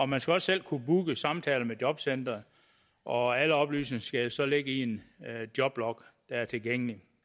man skal også selv kunne booke samtaler med jobcenteret og alle oplysninger skal jo så ligge i en joblog der er tilgængelig